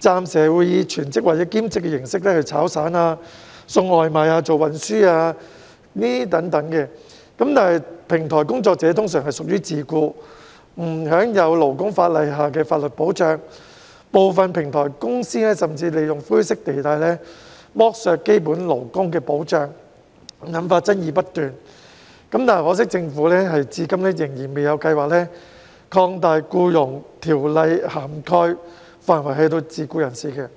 暫時會以全職或兼職形式做"炒散"、送外賣、運輸等工作，但平台工作者通常屬於自僱，不享有勞工法例下的法律保障，部分平台公司甚至會利用灰色地帶，剝削基本勞工保障，引發爭議不斷，可惜政府至今仍然未有計劃擴大《僱傭條例》的涵蓋範圍至自僱人士。